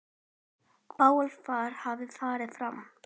Bálför hefur farið fram.